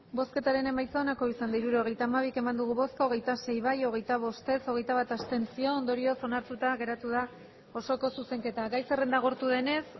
hirurogeita hamabi eman dugu bozka hogeita sei bai hogeita bost ez hogeita bat abstentzio ondorioz onartuta geratu da osoko zuzenketa gai zerrenda agortu denez